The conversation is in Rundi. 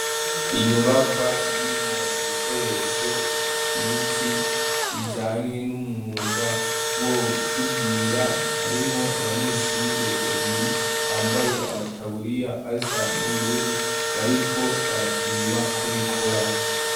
Inyubakwa irimwo ibikoresho vyinshi bijanye n'umwuga wo gusudira, harimwo abanyeshure babiri bambaye amataburiya asa n'ubururu bariko barapima ko bikora.